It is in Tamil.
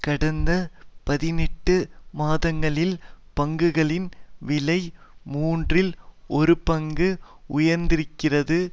கடந்த பதினெட்டு மாதங்களில் பங்குகளின் விலை மூன்றில் ஒருபங்கு உயந்திருக்கிறது